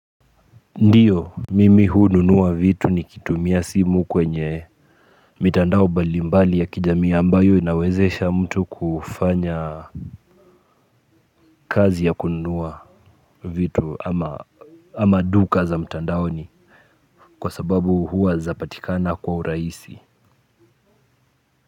Ndiyo, mimi hununua vitu nikitumia simu kwenye mitandao mbali mbali ya kijamii ambayo inawezesha mtu kufanya, kazi ya kununua vitu ama duka za mtandaoni, kwa sababu hua zapatikana kwa urahisi.